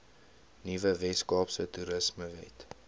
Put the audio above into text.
nuwe weskaapse toerismewet